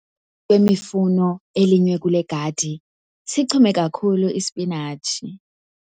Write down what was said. emifuno elinywe kule gadi, sichume kakhulu isipinatshi.